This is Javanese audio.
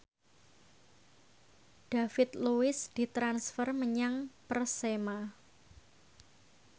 David Luiz ditransfer menyang Persema